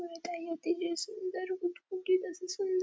व काही होती सुंदर गुटगुटीत असं सुं --